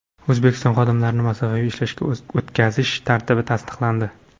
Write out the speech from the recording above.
O‘zbekistonda xodimlarni masofaviy ishlashga o‘tkazish tartibi tasdiqlandi.